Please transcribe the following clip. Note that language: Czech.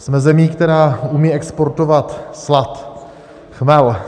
Jsme zemí, která umí exportovat slad, chmel.